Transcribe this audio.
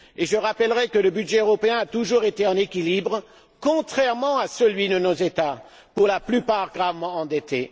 Je rappellerai que le budget européen a toujours été en équilibre, contrairement à celui de nos États, pour la plupart gravement endettés.